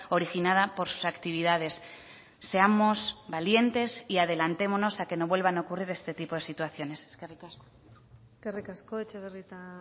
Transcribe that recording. originada por sus actividades seamos valientes y adelantémonos a que no vuelvan a ocurrir este tipo de situaciones eskerrik asko eskerrik asko etxebarrieta